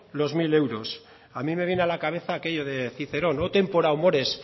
los mil euros a mí me viene a la cabeza aquello de cicerón o tempora o mores